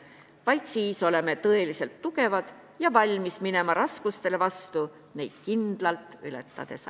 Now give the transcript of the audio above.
Vaid siis oleme tõeliselt tugevad ja valmis minema raskustele vastu neid kindlalt ületades.